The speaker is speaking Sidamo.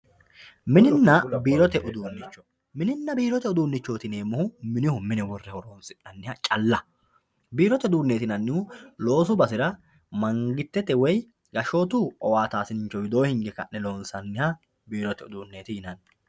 mininna biirote uduunnicho mininna biirote uduunnichooti yineemmohu minihu mine horoonsi'nanniha calla biirote uduunnichooti yinannihu loosu basera mangistete woy gashshootu owaataasincho widoo hinge ka'ne loonsanniha biirote uduunneeti yinanni.